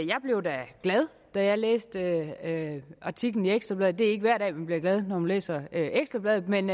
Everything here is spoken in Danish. blev glad da jeg læste artiklen i ekstra bladet det er ikke hver dag vi bliver glade når vi læser ekstra bladet men